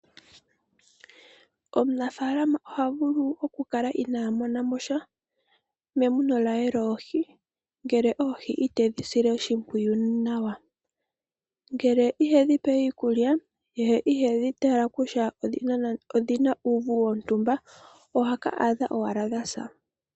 Aantu momikunda ohaya tekula oohi momadhiya, moka hadhi pelwa mo iikulya opo dhi koke noku indjipala. Ngele odha koko aantu ohaya landitha nenge ya mone oshiyelelwa shaanegumbo.